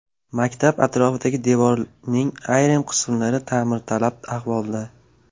Maktab atrofidagi devorning ayrim qismlari ta’mirtalab ahvolda.